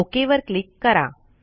okay वर click करा